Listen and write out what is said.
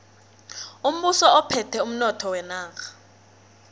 umbuso uphethe umnotho wenarha